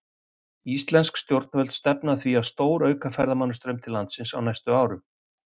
Íslensk stjórnvöld stefna að því að stórauka ferðamannastraum til landsins á næstu árum.